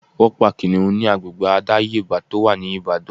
Wọ́n pa Kìnnìún ni agbègbè àdáyébá tó wà ní Ìbàdàn.